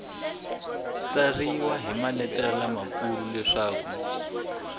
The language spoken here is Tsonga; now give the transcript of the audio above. tsariwa hi maletere lamakulu leswaku